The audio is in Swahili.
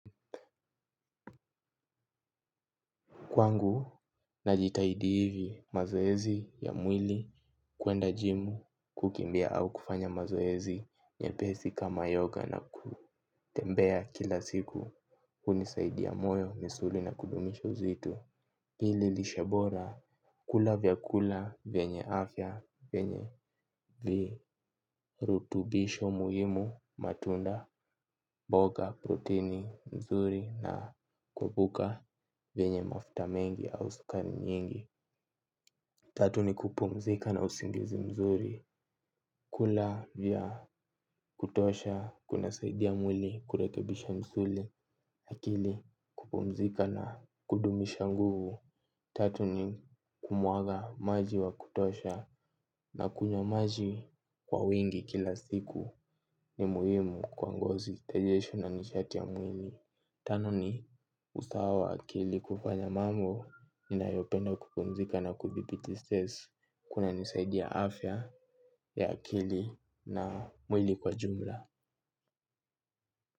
Kwangu, najitahidi hivi mazoezi ya mwili kwenda gym kukimbia au kufanya mazoezi mepesi kama yoga na kutembea kila siku hunisaidia moyo misuli na kudumisha uzito. Pili lishe bora kula vyakula venye afya vyenye virutubisho muhimu matunda mboga proteini mzuri na kuepuka vyenye mafuta mengi au sukari nyingi. Tatu ni kupumzika na usingizi mzuri kula vya kutosha kunasaidia mwili kurekebisha msuli akili kupumzika na kudumisha nguvu. Tatu ni kunywa maji wa kutosha na kunywa maji kwa wingi kila siku ni muhimu kwa ngozi, tejesho na nishati ya mwili. Tano ni usawa wa akili kufanya mambo ninayopenda kupumzika na kuthibiti stress kunanisaidia afya ya akili na mwili kwa jumla.